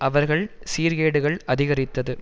அவர்கள் சீர்கேடுகள் அதிகரித்தது